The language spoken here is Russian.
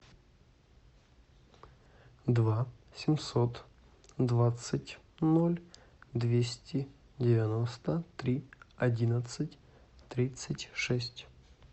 два семьсот двадцать ноль двести девяносто три одиннадцать тридцать шесть